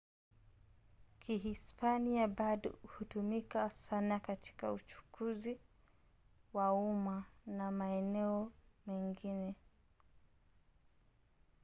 kihispania bado hutumika sana katika uchukuzi wa umma na maeneo mengine